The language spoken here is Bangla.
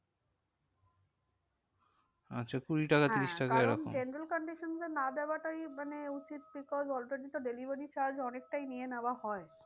আচ্ছা কুড়ি টাকা ত্রিশ টাকা এরকম? হ্যাঁ কারণ condition এ না দেওয়াটাই মানে উচিত because তো delivery charge অনেকটাই নিয়ে নেওয়া হয়।